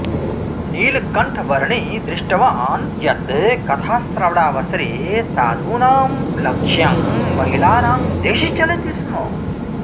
नीलकण्ठवर्णी दृष्टवान् यत् कथाश्रवणावसरे साधूनां लक्ष्यं महिलानां दिशि चलति स्म